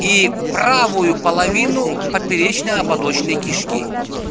и правую половину поперечно-ободочной кишки